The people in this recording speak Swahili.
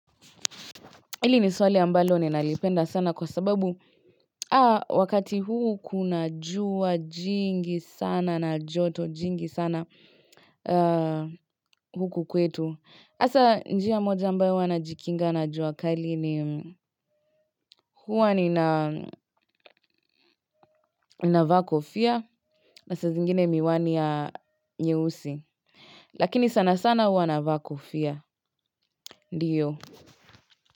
Hili ni swali ambalo ninalipenda sana kwa sababu wakati huu kunajua jingi sana na joto jingi sana huku kwetu. Asa njia moja ambayo huwa najikinga na jua kali ni huwa ninavaa kofia na saa zingine miwani ya nyeusi. Lakini sana sana hua navaa kofia. Ndiyo.